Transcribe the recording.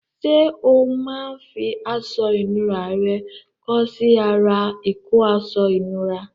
Ṣé o máa ń fi aṣọ ìnura rẹ kọ́ sí ara ìkọ́ aṣọ ìnura?